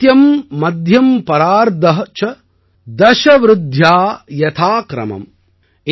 அந்த்ய ம் மத்யம் பரார்த ச தஸ விருத்யா யதா கிரமம்